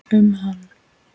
um hann.